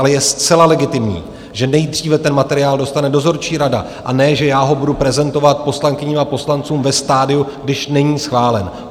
Ale je zcela legitimní, že nejdříve ten materiál dostane dozorčí rada, a ne že já ho budu prezentovat poslankyním a poslancům ve stadiu, když není schválen.